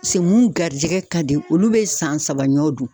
se mun garijigɛ ka di olu be san saba ɲɔn dun